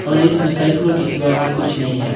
और इसमें साइकिलों के सिवा और कुछ नहीं है।